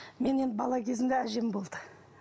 мен енді бала кезімде әжем болды